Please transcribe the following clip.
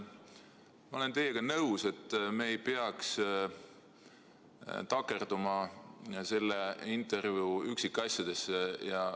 Ma olen teiega nõus, et me ei peaks takerduma selle intervjuu üksikasjadesse.